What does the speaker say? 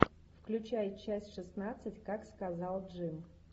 включай часть шестнадцать как сказал джим